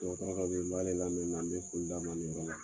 n b'ale lamɛnni na , n bɛ foli d'a ma nin na.